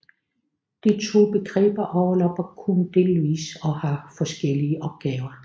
De to begreber overlapper kun delvis og har forskellige opgaver